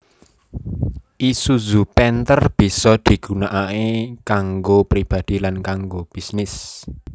Isuzu Panther bisa digunakaké kanggo pribadi lan kanggo bisnis